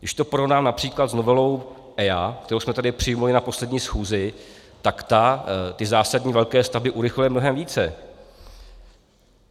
Když to porovnám například s novelou EIA, kterou jsme tady přijali na poslední schůzi, tak ta ty zásadní velké stavby urychluje mnohem více.